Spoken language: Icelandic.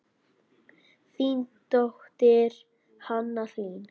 Þín dóttir, Hanna Hlín.